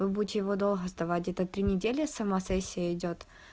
вы будете его долго сдавать это три недели сама сессия идёт